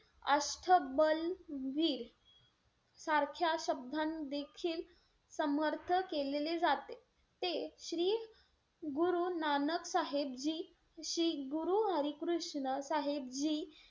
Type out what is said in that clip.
अष्टबल वीर सारख्या शब्दां देखील समर्थ केलेले जाते. ते श्री गुरु नानक साहेबजी श्री गुरु हरी कृष्ण साहेबजी,